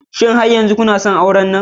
Shin har yanzu kuna son auren nan?